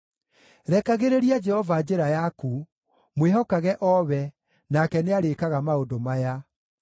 Rekagĩrĩria Jehova njĩra yaku; mwĩhokage o we, nake nĩarĩĩkaga maũndũ maya: